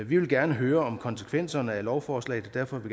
vi vil gerne høre om konsekvenserne af lovforslaget og derfor vil